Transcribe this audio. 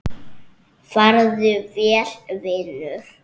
Farðu vel, vinur.